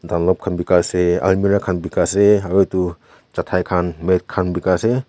Dunlop khan bika ase almara khan bika ase aru etu chatai khan mat khan bika ase.